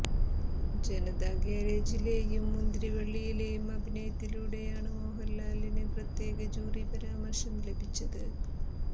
ജനതാ ഗാരേജിലെയും മുന്തിരിവള്ളിയിലെയും അഭിനയത്തിലൂടെയാണ് മോഹന്ലാലിന് പ്രത്യേക ജൂറി പരാമര്ശം ലഭിച്ചത്